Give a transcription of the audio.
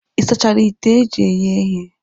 Ị sachara ite eji eghe ihe?